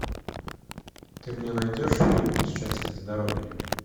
ты мне найдешь фильм счастье здоровье